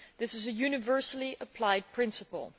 That is a universally applied principle.